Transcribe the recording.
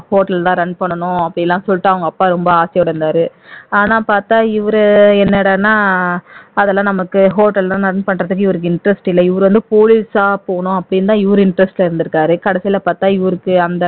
hotel தான் run பண்ணனும் அப்படியெல்லாம் சொல்லிட்டு அவங்க அப்பா ரொம்ப ஆசையோட இருந்தாரு ஆனா பாத்தா இவர் என்னடான்னா அதெல்லாம் நமக்கு hotel லாம் run பண்றதுக்கு இவருக்கு interest இல்ல இவரு வந்து போலீசா போகணும் அப்படின்னு தான் இவர் interest ஆ இருந்துருக்காரு கடைசில பாத்தா இவருக்கு அந்த